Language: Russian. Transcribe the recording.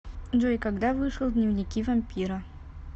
джой когда вышел дневники вампира